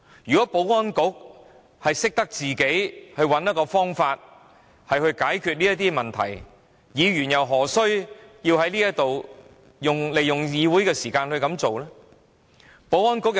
如果保安局能夠設法解決這些問題，議員怎會利用議會時間提出這個要求？